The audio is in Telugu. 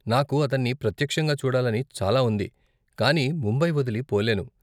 నాకు అతన్ని ప్రత్యక్షంగా చూడాలని చాలా ఉంది, కానీ ముంబై వదిలి పోలేను.